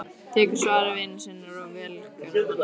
Tekur svari vina sinna og velgjörðamanna.